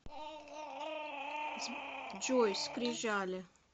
джой скрижали